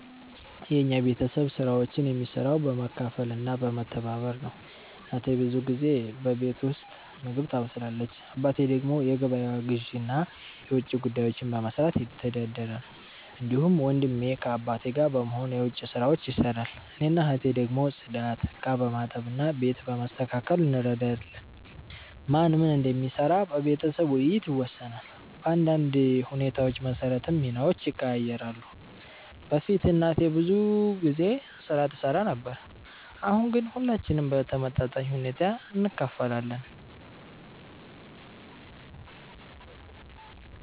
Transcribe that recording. የኛ ቤተሰብ ስራዎችን የሚሰራው በመካፈል እና በመተባበር ነው። እናቴ ብዙ ጊዜ በቤት ውስጥ ምግብ ታበስላለች። አባቴ ደግሞ የገበያ ግዢ እና የውጭ ጉዳዮችን በመስራት ይተዳደራል። እንዲሁም ወንድሜ ከአባቴ ጋር በመሆን የዉጭ ስራዎች ይሰራል። እኔና እህቴ ደግሞ ጽዳት፣ ዕቃ በማጠብ እና ቤት በማስተካከል እንረዳለን። ማን ምን እንደሚሰራ በቤተሰብ ውይይት ይወሰናል፣ በአንዳንድ ሁኔታዎች መሰረትም ሚናዎች ይቀያየራሉ። በፊት እናቴ ብዙ ስራ ትሰራ ነበር፣ አሁን ግን ሁላችንም በተመጣጣኝ ሁኔታ እንካፈላለን።